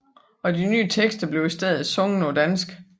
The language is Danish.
Og de nye tekster blev i stedet sunget på dansk